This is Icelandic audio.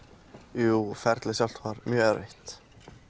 jú ferlið sjálft var mjög erfitt